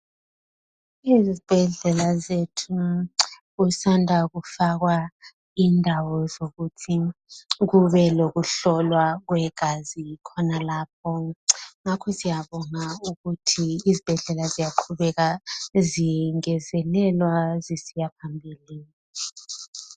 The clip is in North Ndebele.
Izibhedlela zethu kusanda kufakwa indawo zokuthi kube lokuhlolwa kwe gazi khonalapho. Ngakho siyabonga ukuthi izibhedlela ziya qhubeka zingezelelwa zisiya phambili.